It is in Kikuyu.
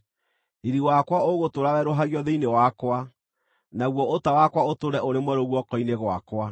Riiri wakwa ũgũtũũra werũhagio thĩinĩ wakwa, naguo ũta wakwa ũtũũre ũrĩ mwerũ guoko-inĩ gwakwa.’